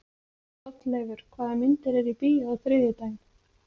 Hrolleifur, hvaða myndir eru í bíó á þriðjudaginn?